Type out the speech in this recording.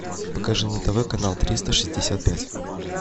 покажи на тв канал триста шестьдесят пять